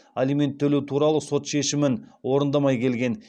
алимент төлеу туралы сот шешімін орындамай келген